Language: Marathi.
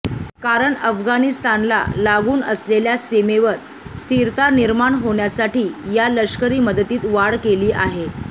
कारण अफगाणिस्तानला लागून असलेल्या सीमेवर स्थिरता निर्माण होण्यासाठी या लष्करी मदतीत वाढ केली आहे